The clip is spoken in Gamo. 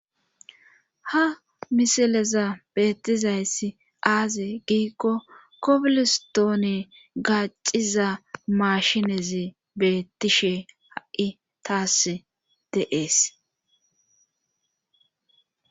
Ha misileza beettizayssi aaze giikko kopilstoone gacciza mashinezi beettishe ha'i taas deees.